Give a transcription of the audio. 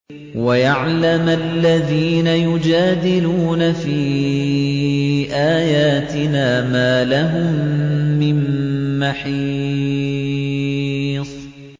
وَيَعْلَمَ الَّذِينَ يُجَادِلُونَ فِي آيَاتِنَا مَا لَهُم مِّن مَّحِيصٍ